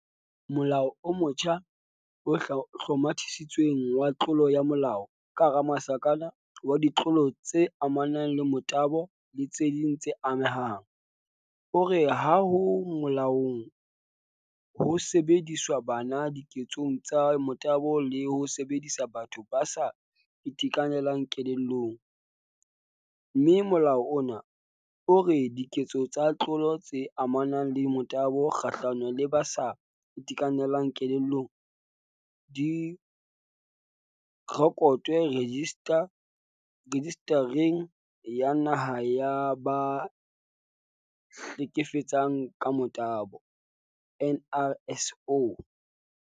Molao o motjha o Hlomathisitsweng wa Tlolo ya molao, wa Ditlolo tse amanang le Motabo le tse ding tse Amehang, o re ha ho molaong ho sebedisa bana diketsong tsa motabo le ho sebedisa batho ba sa itekanelang kelellong, mme molao ona o re diketso tsa ditlolo tse amanang le motabo kgahlano le ba sa itekanelang kelellong di rekotwe Rejista reng ya Naha ya ba Hleke fetsang ka Motabo, NRSO.